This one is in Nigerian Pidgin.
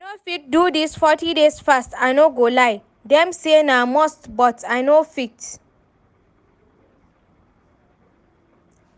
I no fit do dis forty days fast I no go lie, dem say na must but I no fit